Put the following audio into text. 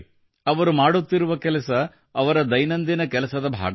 ಅವರು ಮಾಡುತ್ತಿರುವ ಕೆಲಸ ಅವರ ದೈನಂದಿನ ಕೆಲಸದ ಭಾಗವಲ್ಲ